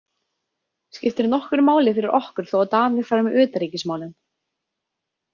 Skiptir nokkru máli fyrir okkur þó að Danir fari með utanríkismálin?